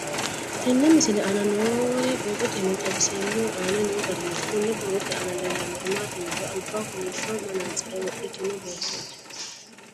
Tenne misile aana noore borroteni xawiseemohu aane noo gariniiti. Kunni borrote aana leelanori maati yiniro albaho kollishsho manantsire wodhitinno beetoti.